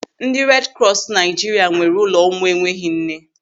Ndị redi krọs nke Naịjiria nwere ụlọ ụmụ enweghị nne.